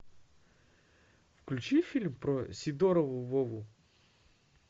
включи фильм про сидорова вову